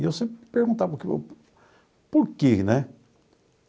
E eu sempre me perguntava por quê, né?